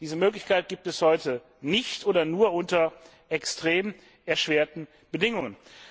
Diese Möglichkeit gibt es heute nicht oder nur unter extrem erschwerten Bedingungen.